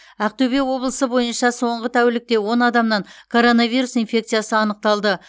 ақтөбе облысы бойынша соңғы тәулікте он адамнан коронавирус инфекциясы анықталды